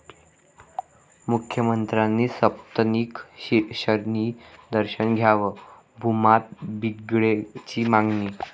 मुख्यमंत्र्यांनी सपत्नीक शनीदर्शन घ्यावं, भूमाता ब्रिगेडची मागणी